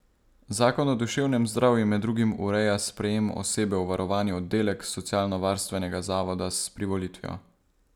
Zakon o duševnem zdravju med drugim ureja sprejem osebe v varovani oddelek socialnovarstvenega zavoda s privolitvijo.